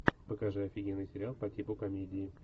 покажи офигенный сериал по типу комедии